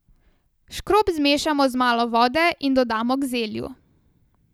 Škrob zmešamo z malo vode in dodamo k zelju.